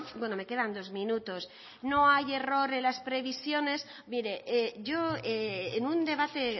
bueno me quedan dos minutos no hay error en las previsiones mire yo en un debate